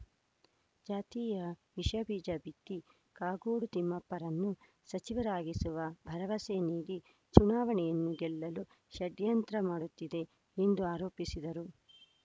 ಜಾತಿಯ ವಿಷಬೀಜ ಬಿತ್ತಿ ಕಾಗೋಡು ತಿಮ್ಮಪ್ಪರನ್ನು ಸಚಿವರಾಗಿಸುವ ಭರವಸೆ ನೀಡಿ ಚುನಾವಣೆಯನ್ನು ಗೆಲ್ಲಲು ಷಡ್ಯಂತ್ರ ಮಾಡುತ್ತಿದೆ ಎಂದು ಆರೋಪಿಸಿದರು